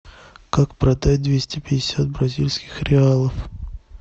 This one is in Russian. как продать двести пятьдесят бразильских реалов